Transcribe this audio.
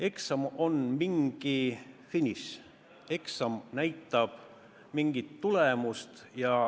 Eksam on mingi finiš, eksam näitab mingit tulemust.